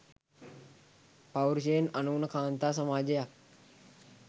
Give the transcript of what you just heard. පෞර්ෂයෙන් අනූන කාන්තා සමාජයක්